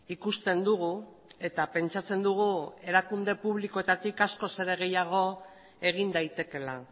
ikusten dugu eta pentsatzen dugu erakunde publikoetatik askoz ere gehiago egin daitekeela